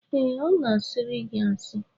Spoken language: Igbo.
Ee, ọ na-a sịịrị gị asị